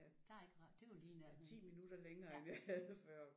Der er ikke ret det er jo lige i nærheden